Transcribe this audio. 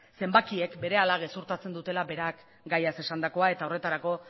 zenbakiek berehala gezurtatzen duela berak gaiaz esandakoa eta horretarako